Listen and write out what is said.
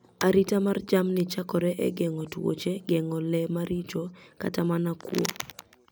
Arita mar jamni chakore e gengo tuoche, gengo le maricho, kata mana kuo